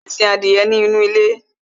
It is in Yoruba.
bàbá mi sin adìyẹ nínú ilé